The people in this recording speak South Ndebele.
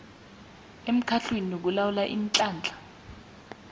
emkhandlwini olawula iinhlahla